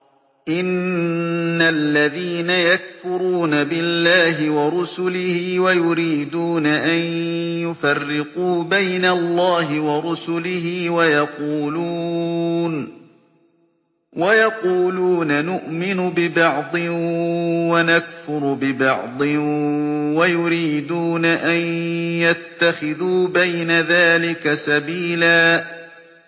إِنَّ الَّذِينَ يَكْفُرُونَ بِاللَّهِ وَرُسُلِهِ وَيُرِيدُونَ أَن يُفَرِّقُوا بَيْنَ اللَّهِ وَرُسُلِهِ وَيَقُولُونَ نُؤْمِنُ بِبَعْضٍ وَنَكْفُرُ بِبَعْضٍ وَيُرِيدُونَ أَن يَتَّخِذُوا بَيْنَ ذَٰلِكَ سَبِيلًا